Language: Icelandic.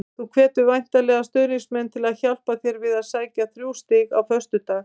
Þú hvetur væntanlega stuðningsmenn til að hjálpa til við að sækja þrjú stig á föstudag?